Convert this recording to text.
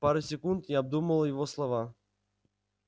пару секунд я обдумывал его слова